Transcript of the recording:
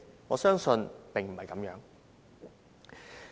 我相信並非如此。